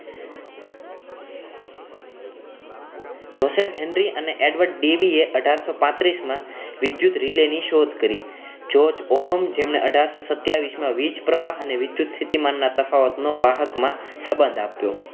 Joseph Henry અને Edward ડેવીએ અઠાર સો પાંત્રીશ માં વિદ્યુત રિલે ની શોધ કરી જોજ ઓહમ જેમણે અઠારસો સત્યાવીશ માં વીજ પ્રવાહ અને વિધુત સ્થિતિમાનના તફાવતનો વાહકમાં સંબંધ આપ્યો